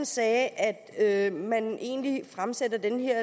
sagde at man egentlig fremsætter det her